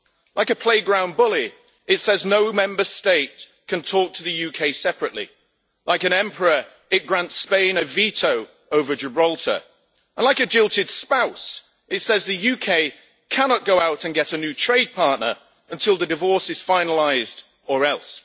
Like a playground bully, it says no Member State can talk to the UK separately, like an emperor it grants Spain a veto over Gibraltar, and like a jilted spouse it says the UK cannot go out and get a new trade partner until the divorce is finalised, or else.